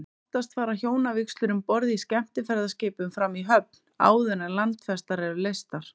Oftast fara hjónavígslur um borð í skemmtiferðaskipum fram í höfn, áður en landfestar eru leystar.